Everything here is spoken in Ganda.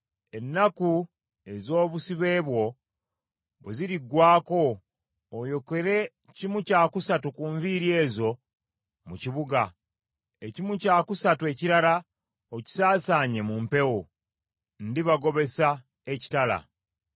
Ennaku ez’obusibe bwo bwe ziriggwaako, oyokere kimu kya kusatu ku nviiri ezo mu kibuga. Ekimu kya kusatu ekirala okisaasaanye mu mpewo. Ndibagobesa ekitala.